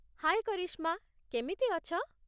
ହାଏ କରିଶ୍ମା, କେମିତି ଅଛ?